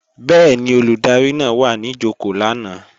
Bẹ́ẹ̀ni, Olùdarí náà wà ní jòkó lánàá